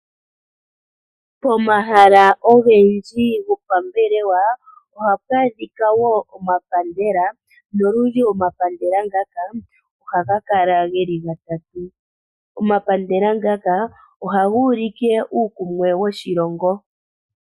Pomahala ogendji gopambelewa ohapu adhika omapandela. Nolundji omapandela ngaka ohaga kala geli gatatu . Omapandela ngaka ohaga ulike uukumwe woshilongo.